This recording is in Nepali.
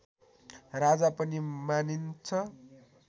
राजा पनि मानिन्छ